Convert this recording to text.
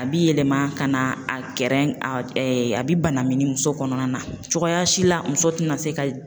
A bi yɛlɛma ka na a kɛrɛn a bi banami muso kɔnɔna na cogoya si la muso tina se ka